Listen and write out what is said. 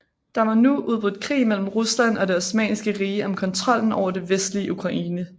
Der var nu udbrudt krig mellen Rusland og Det Osmanniske Rige om kontrollen over det vestlige Ukraine